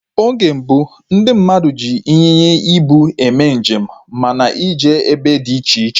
Oge gboo, ndị mmadụ ji ịnyịnya ibu eme njem ma na eje ebe dị iche iche